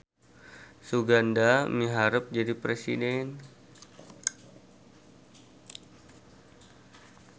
Suganda miharep jadi presiden